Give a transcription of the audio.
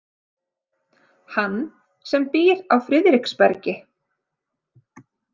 Hann sem býr á Friðriksbergi.